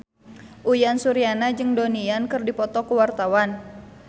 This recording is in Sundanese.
Uyan Suryana jeung Donnie Yan keur dipoto ku wartawan